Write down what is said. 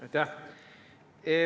Aitäh!